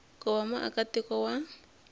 ku va muaka tiko wa